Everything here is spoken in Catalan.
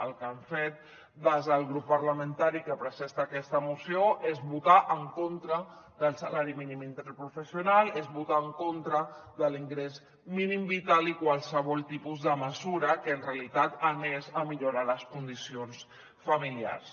el que han fet des del grup parlamentari que presenta aquesta moció és votar en contra del salari mínim interprofessional és votar en contra de l’ingrés mínim vital i qualsevol tipus de mesura que en realitat millori les condicions familiars